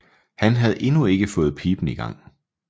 Han havde endnu ikke fået piben i gang